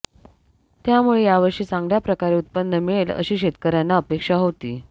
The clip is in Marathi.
त्यामुळे यावर्षी चांगल्या प्रकारे उत्पन्न मिळेल अशी शेतकऱ्यांना अपेक्षा होती